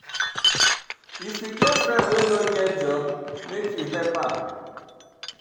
If you get friend wey no get job, make you help am.